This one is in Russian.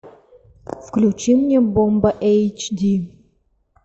включи мне бомба эйч ди